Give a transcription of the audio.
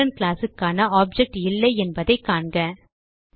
student class க்கான object இல்லை என்பதை காண்க